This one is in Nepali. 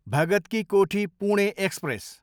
भगत की कोठी, पुणे एक्सप्रेस